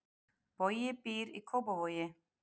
Bogi býr í Kópavogi.